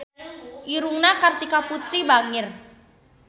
Irungna Kartika Putri bangir